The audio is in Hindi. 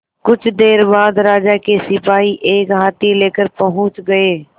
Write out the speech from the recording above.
कुछ देर बाद राजा के सिपाही एक हाथी लेकर पहुंच गए